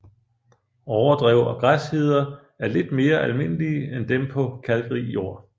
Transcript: Overdrev og græsheder er lidt mere almindelige end dem på kalkrig jord